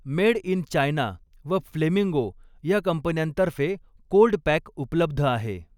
Made in China व flamingo या कंपन्यांतर्फे कोल्ड पॅक उपलब्ध आहे.